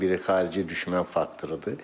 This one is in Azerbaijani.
Bunlardan biri xarici düşmən faktorudur.